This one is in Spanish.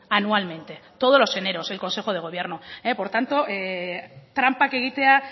anualmente todos los eneros el consejo de gobierno por tanto tranpak egitea